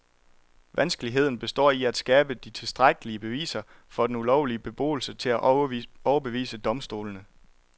Vanskeligheden består i at skabe de tilstrækkelige beviser for den ulovlige beboelse til at overbevise domstolene.